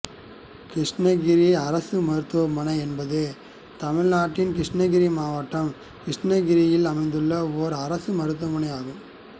கிருஷ்ணகிரி அரசு மருத்துவமனை என்பது தமிழ்நாட்டின் கிருட்டிணகிரி மாவட்டம் கிருட்டிணகிரியில் அமைந்துள்ள ஒரு அரசு மருத்துவமனை ஆகும்